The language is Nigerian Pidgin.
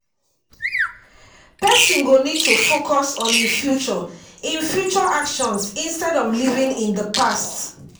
person go need to focus on im future im future actions instead of living in the past